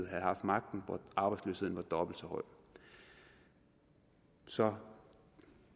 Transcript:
havde haft magten og hvor arbejdsløsheden var dobbelt så høj så